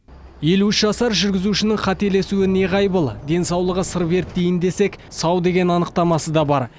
елу үш жасар жүргізушінің қателесуі неғайбыл денсаулығы сыр берді дейін десек сау деген анықтамасы да бар